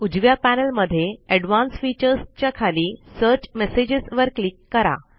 उजव्या पॅनल मध्ये advance features च्या खाली सर्च मेसेजेस वर क्लिक करा